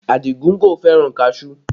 Adigun kò fẹ́ràn kaṣuú